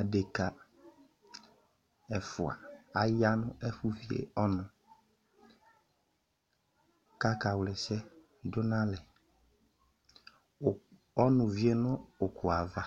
Adeka ɛfua aya nʋ ɛfʋ vie ɔnʋ k'aka wla ɛsɛ dʋ n'alɛ Ɔnʋ vie nʋ ʋkʋ yɛ ava